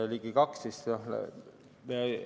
Ligi 2%.